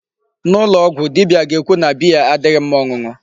N'ụlọ ọgwụ dibia ga-ekwu na beer adịghị mma ọṅụṅụ.